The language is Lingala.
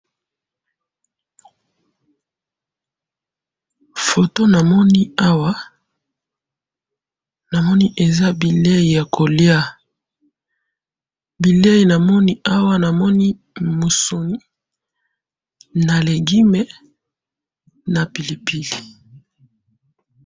Photo na moni awa eza bilei ya koliya, bilei na moni awa ezali musuni na legume na pilipili.